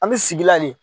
An bɛ sigi la le